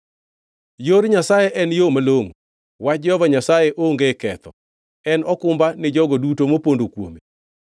“Yor Nyasaye en yo malongʼo; wach Jehova Nyasaye onge ketho. En okumba ni jogo duto mopondo kuome.